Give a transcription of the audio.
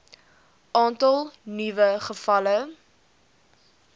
aantal nuwe gevalle